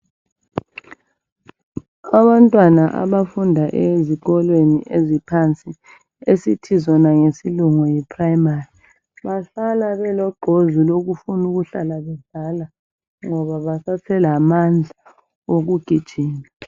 Abantwana abafunda ezikolweni eziphansi esithi zona ngesilungu yi primary bahlala beloqhozi lokufuna ukuhlala bedlala ngoba basaselamandla okugijima